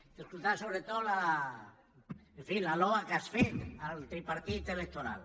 t’he escoltat sobretot en fi la lloa que has fet al tripartit electoral